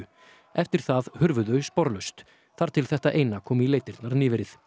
eftir það hurfu þau sporlaust þar til þetta eina kom í leitirnar nýverið